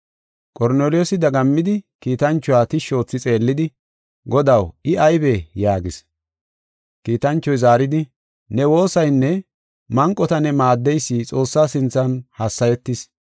Qorneliyoosi dagammidi kiitanchuwa tishshi oothi xeellidi, “Godaw, I aybee?” yaagis. Kiitanchoy zaaridi, “Ne woosaynne manqota ne maaddeysi Xoossaa sinthan hassayetis.